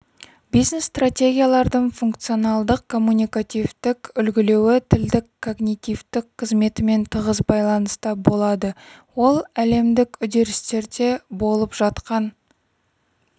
бизнес-стратегиялардың функционалдық коммуникативтік үлгілеуі тілдік когнитивтік қызметімен тығыз байланыста болады ол әлемдік үдерістерде болып жатқан